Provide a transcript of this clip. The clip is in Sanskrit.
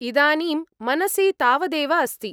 इदानीं मनसि तावदेव अस्ति।